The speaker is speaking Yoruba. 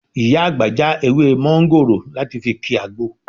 Ìyá àgbà já ewé mọ́ńgòrò láti fi ki àgbo